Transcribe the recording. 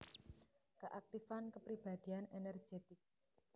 Keaktifan kepribadian energetik